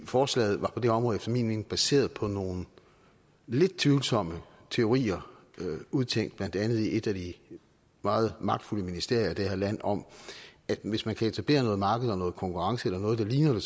forslaget var på det område efter min mening baseret på nogle lidt tvivlsomme teorier udtænkt i blandt andet et af de meget magtfulde ministerier i det her land om at hvis man kan etablere noget marked og noget konkurrence eller noget der ligner